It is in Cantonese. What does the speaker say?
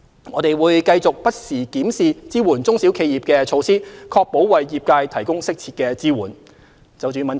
我們會繼續不時檢視支援中小企業的措施，確保為業界提供適切的支援。